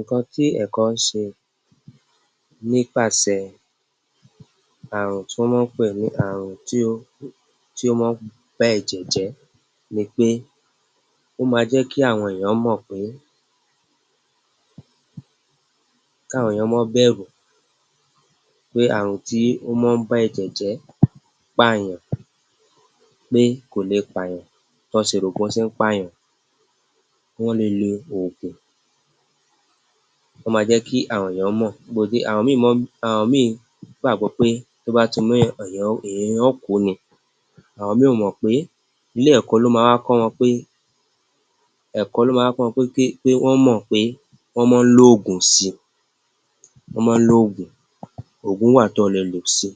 Ǹkan tí ẹ̀kọ́ ńṣe nípasẹ̀ ààrùn tí wọ́n mọn ń pè ní àrùn tí ó, tí ó mọ ń bá èjè jẹ́ ni pé ó máa jẹ́ kí àwọn èèyàn mọ̀ pé, káwọn èèyàn mọ́n bẹ̀rù pé ààrùn tí ó mọ́n ń bá ẹ̀jẹ̀ jẹ́ pàyàn, pé kò le pàyàn, tọ́n ṣe rò pó ṣe ń pàyàn, Wọ́n le lo òògùn, wọ́n máa jẹ́ kí àwọn èèyàn mọ̀, àwọn míì mọ́n, àwọn mí gbàgbọ́ pé tó bá ti méyàn, èèyàn ó, èèyàn yẹn ó kú ni, àwọn mí ò mọ̀ pé, ilé ẹ̀kọ́ ló máa wá kọ́ wọn pé, ẹ̀kọ́ ló máa wá kọ́ wọn pé, pé, pé wọ́n mọ̀ pé wọ́n mọ́n ń lòògùn si, wọ́n mọn ń lòògùn, òògùn wà tọ́ ọ lè lò si.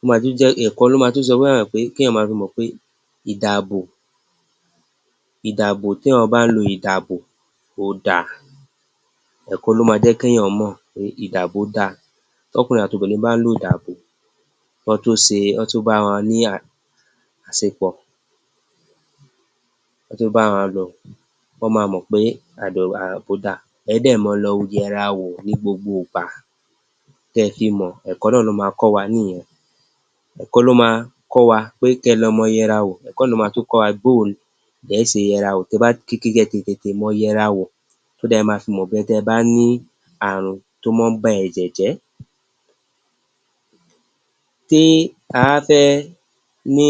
Ó máa tún jẹ́, ẹ̀kọ́ ló máa tún sọ fáwọn èèyàn pé, kí èèyàn máa fi mọ̀ pé ìdàbò, ìdàbò, téèyàn bá ń lo ìdàbò, ó da, ẹ̀kọ́ ló máa jẹ́ kéèyàn mọ̀ pé ìdàbó da, tọ́kùnrin àtobìnrin bá ń lódàbò kọ́n tó ṣe, kọ́n tó bára wọn ní àṣepọ̀, kọ́n to bára wọn lò, wọ́n máa mọ̀ pé ìdàbó da. Ẹ̀ ẹ́ dẹ́ mọ lọ yẹra wò ní gbogbo gbà tẹ fi mọ̀, ẹ̀kọ́ náà ló máa kọ́ wa níyẹn. Ẹ̀kọ́ ló máa kọ́ wa pé kẹ lọ mọ yẹra wò, ẹ̀kọ́ náà ló máa tún kọ́ wa bó o lẹ̀ẹ́ ṣe yẹra wò, tẹ bá, kẹ tètè mọ yẹra wò, so that ẹ máa fi mọ̀ pé tẹ bá ní ààrùn tó mọ ń ba ẹ̀jẹ̀ jẹ́. Tí a bá fẹ́ ní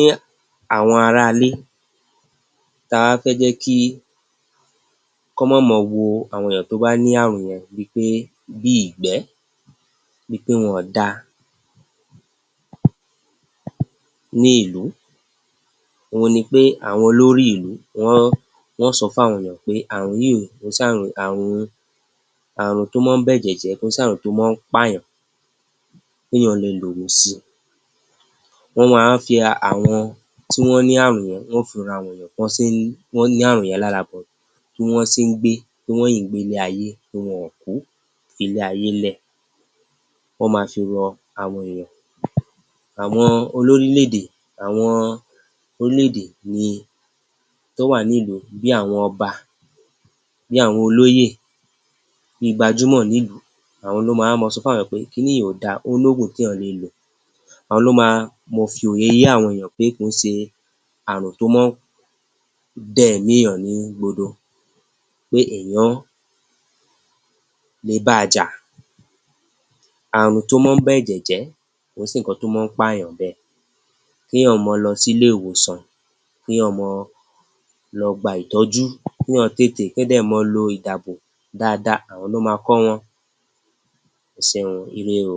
àwọn aráalé, ta bá fẹ́ jẹ́ kí, kọ́n mọ́ mọ wo àwọn èèyàn tó bá ní ààrùn yẹn bíi pé, bí ìgbẹ́, bíi pé wọn ò dáa ní ìlú, òhun ni pé àwọn olórí ìlú wọ́n, wọ́n ó sọ fáwọn èèyàn pé ààrùn yí o, kò ń sààrùn, àarùn, ààrùn tó mọ ń bẹ́jẹ̀ jẹ́, kò ń sààrùn tó ń mọ ń pààyàn, péèyàn le lòògùn si. Wọ́n máa wá fi àwọn tí wọ́n ní ààrùn yẹn, wọ́n ó fi han àwọn èèyàn bó ṣe n, tọ́n ní ààrùn yẹn lára but bí wọ́n ṣe ń gbé, pé wọ́n ṣi ń gbélé-ayé, pé wọn ò kú fi lé ayé lẹ̀, wọ́n máa fi hàn àwọn èèyàn. Àwọn olórílẹ̀-èdè, àwọn orílẹ̀-èdè ni tó wà nilú bí àwọn ọba, bí àwọn olóyè, bí gbajúmọ̀ nilùú, àwọn lọó ma wá máa sọ fáwọn èèyàn pé kiní yẹn ò dáa, ó lóògùn téèyan le lò. Àwọn lo máa mọ fi òye yé àwọn èèyàn pé kò ń ṣe ààrùn tó mọ ń dẹ̀mí èèyàn ní gbodo, pé èèyán le bá a jà. Ààrùn tó mọ ń bẹ̀jẹ̀ jẹ́, kò ń ṣe ǹkan tó mọ ń pààyàn bẹ́ẹ̀. Kééyàn mọ lọ sílé wòsàn, kéèyàn mọ lọ gba ìtọ́jú, kéèyàn tètè, kéèyàn dẹ̀ mọ́ọ lo ìdàbò dáadáa, àwọn ló máa kọ́ wọn. Ẹ ṣeun o, ire o.